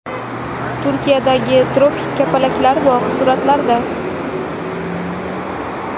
Turkiyadagi tropik kapalaklar bog‘i suratlarda.